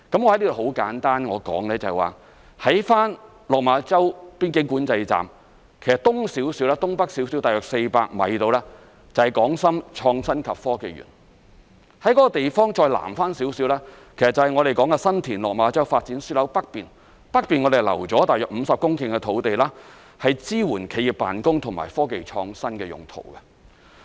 我在此簡單說說，在落馬洲邊境管制站，在其東北方約400米左右，就是港深創新及科技園；而該地方南面一點，就是新田/落馬洲發展樞紐的北面，北面我們已經預留約50公頃土地支援企業辦公和科技創新用途。